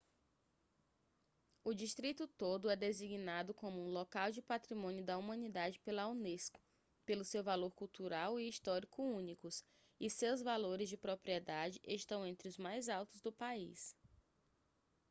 o distrito todo é designado como um local de patrimônio da humanidade pela unesco pelo seu valor cultural e histórico únicos e seus valores de propriedade estão entre os mais altos do país